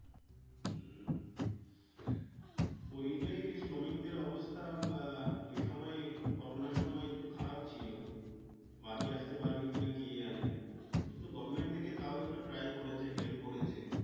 উম পরিযায়ী শ্রমিকদের অবস্থা আহ ওই সময় করোনা সময় একটু খারাপ ছিল বাড়ি আস্তে পারবে কিনা কে জানে কিন্তু Government তাও একটু Try করেছে Help করেছে।